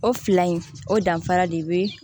O fila in o danfara de be